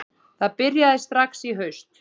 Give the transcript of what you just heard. Það byrjaði strax í haust